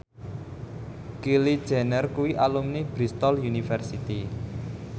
Kylie Jenner kuwi alumni Bristol university